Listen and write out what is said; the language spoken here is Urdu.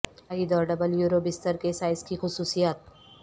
واحد اور ڈبل یورو بستر کے سائز کی خصوصیات